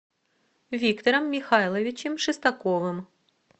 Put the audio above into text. виктором михайловичем шестаковым